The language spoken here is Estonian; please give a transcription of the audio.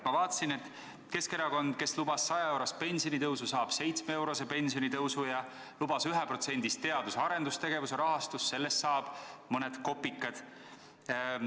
Ma näen, et Keskerakond, kes lubas 100-eurost pensionitõusu, saab 7-eurose pensionitõusu, ja lubas teadus- ja arendustegevuse rahastamisel 1%, aga juurde antakse mõned kopikad.